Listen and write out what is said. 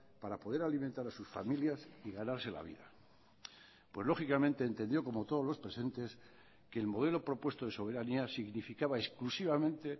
para poder alimentar a sus familias y ganarse la vida pues lógicamente entendió como todos los presentes que el modelo propuesto de soberanía significaba exclusivamente